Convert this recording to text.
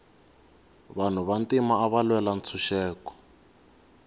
vanhu va ntima ava lwela ntshuxeko